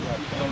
Qardaşım.